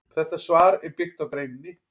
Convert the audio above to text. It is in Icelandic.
Þetta svar er byggt á greininni.